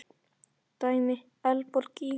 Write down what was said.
Dæmi: Eldborg í